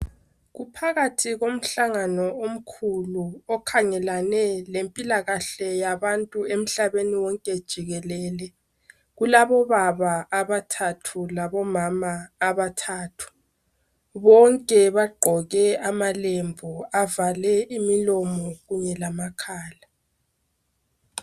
Kuphakathi komhlangano omkhulu okhangelane lempilakahle yabantu emhlabeni wonke jikelele. Kulabobaba abathathu labomama abathathu. Bonke bagqoke amalembu avale imilomo kunye lamakhala.